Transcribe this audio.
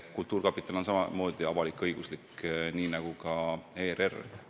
Kultuurkapital on samamoodi avalik-õiguslik institutsioon nagu ERR.